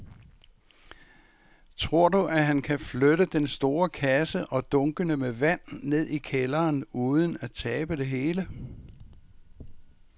Tror du, at han kan flytte den store kasse og dunkene med vand ned i kælderen uden at tabe det hele?